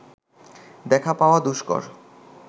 দেখা পাওয়া দুষ্কর